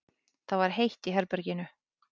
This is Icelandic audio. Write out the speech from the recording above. Það var heitt í herberginu.